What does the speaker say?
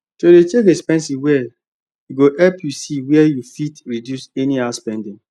to dey check expenses well go help you see wer you fit reduce anyhow spending